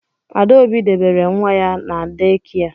Adaobi debere nwa ya na dee kia